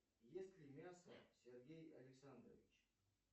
ест ли мясо сергей александрович